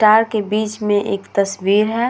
तार के बीच में एक तस्वीर है।